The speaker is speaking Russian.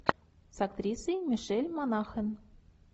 с актрисой мишель монахэн